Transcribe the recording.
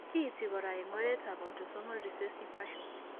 Kiinti kora eng' oretap autosomal recessive fashion.